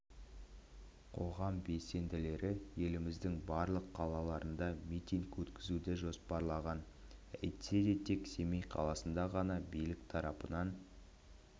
қоғам белсенділері еліміздің барлық қалаларында митинг өткізуді жоспарлаған әйтсе де тек семей қаласында ғана билік тарапынан